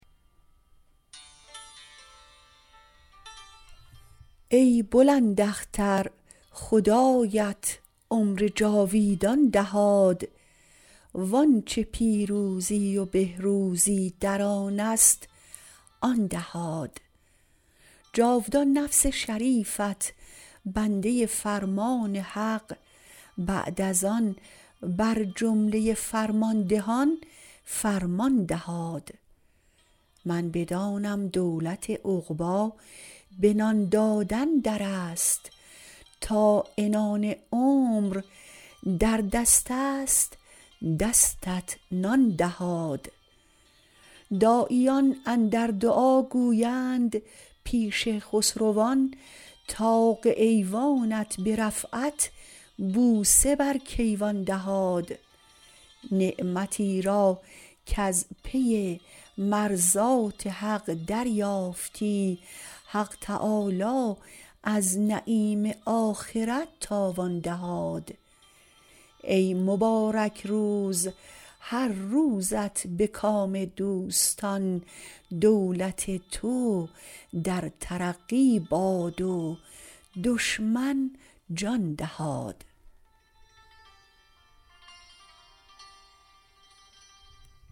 ای بلند اختر خدایت عمر جاویدان دهاد وآنچه پیروزی و بهروزی در آنست آن دهاد جاودان نفس شریفت بنده فرمان حق بعد از آن بر جمله فرماندهان فرمان دهاد من بدانم دولت عقبی به نان دادن درست تا عنان عمر در دستست دستت نان دهاد داعیان اندر دعا گویند پیش خسروان طاق ایوانت به رفعت بوسه بر کیوان دهاد نعمتی را کز پی مرضات حق دریافتی حق تعالی از نعیم آخرت تاوان دهاد ای مبارک روز هر روزت به کام دوستان دولت تو در ترقی باد و دشمن جان دهاد